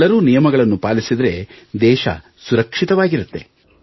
ಎಲ್ಲರೂ ನಿಯಮಗಳನ್ನು ಪಾಲಿಸಿದರೆ ದೇಶವು ಸುರಕ್ಷಿತವಾಗಿರುತ್ತದೆ